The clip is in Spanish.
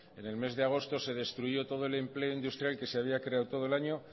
en el mes de agosto se destruyó todo el empleo industrial que se había creado todo el año